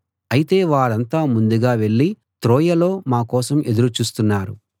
అయితే వారంతా ముందుగా వెళ్ళి త్రోయలో మా కోసం ఎదురు చూస్తున్నారు